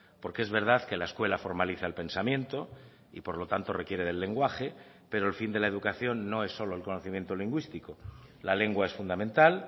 porque es verdad que la escuela formaliza el pensamiento y por lo tanto requiere del lenguaje pero el fin de la educación no es solo el conocimiento lingüístico la lengua es fundamental